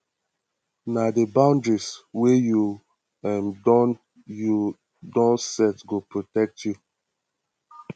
na di boundaries wey you um don you um don set go protect you